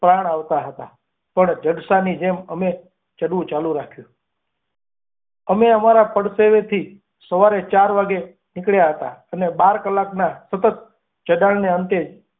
પ્રાણ આવતા હતા. પણ જડસાની જેમ અમે ચાહું ચાલુ રાખ્યું અમે અમારે પાવથી સવારે ચાર વાગ્યે નીકળ્યા હતા અને બાર ક્લાકના સતત ચડાદને અંતે.